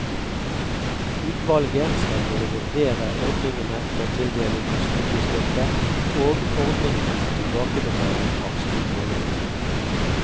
Utvalget skal både vurdere ordningene for tildeling av studiestøtte og ordningene for tilbakebetaling av studielån.